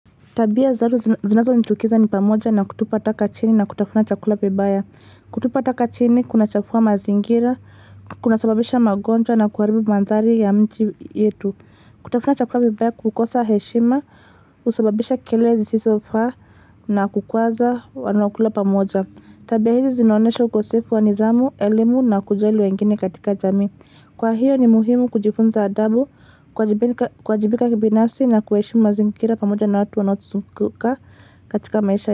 Tabia za watu zinazonichukiza ni pamoja na kutupa taka chini na kutafuna chakula vibaya. Kutupa taka chini, kunachafua mazingira, kunasababisha magonjwa na kuharibu mandhari ya miji yetu. Kutafuna chakula vibaya kukosa heshima, husababisha kelele zisizofaa na kukwaza wanaokula pamoja. Tabia hizi zinaonyesha ukosefu wa nidhamu, elimu na kujali wengine katika jamii Kwa hiyo ni muhimu kujifunza adabu kuwajibika kibinafsi na kuheshimu mazingira pamoja na watu wanaotuzunguka katika maisha.